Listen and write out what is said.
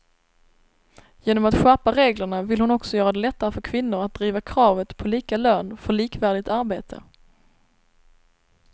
Genom att skärpa reglerna vill hon också göra det lättare för kvinnor att driva kravet på lika lön för likvärdigt arbete.